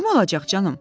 Kim olacaq canım?